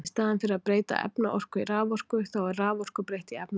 Í staðinn fyrir að breyta efnaorku í raforku, þá er raforku breytt í efnaorku.